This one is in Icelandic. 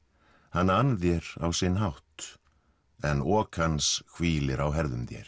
hann ann þér á sinn hátt en ok hans hvílir á herðum þér